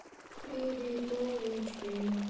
приветулички